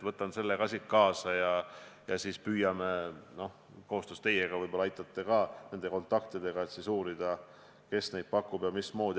Võtan ka selle info siit kaasa ja püüame koos teiega – võib-olla aitate kontaktidega – uurida, kes neid pakub ja mismoodi.